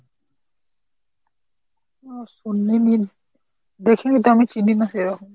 না শুনিনি, দেখিনি নি তো আমি চিনি না সেরকম।